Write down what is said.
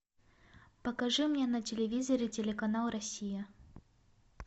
покажи мне на телевизоре телеканал россия